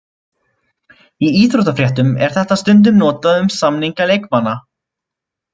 Í íþróttafréttum er þetta stundum notað um samninga leikmanna.